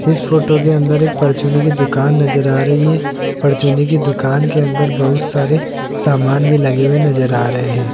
इस फोटो के अंदर एक परचूनी की दुकान नजर आ रही है परचूनी की दुकान के अंदर बहुत सारे सामान भी लगे हुए नजर आ रहे हैं।